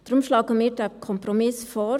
Deshalb schlagen wir diesen Kompromiss vor.